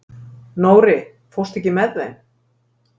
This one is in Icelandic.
Nóri, ekki fórstu með þeim?